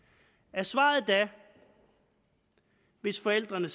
er svaret da hvis forældrene